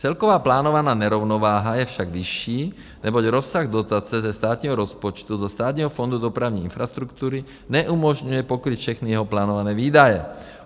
Celková plánovaná nerovnováha je však vyšší, neboť rozsah dotace ze státního rozpočtu do Státního fondu dopravní infrastruktury neumožňuje pokrýt všechny jeho plánované výdaje.